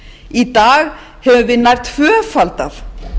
í dag höfum við nær tvöfaldað